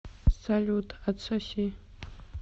салют отсоси